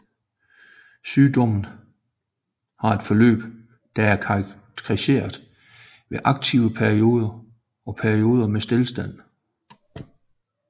Sygdommen har et forløb der er karakteriseret ved aktive perioder og perioder med stilstand